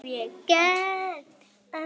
Hvað hef ég gert?.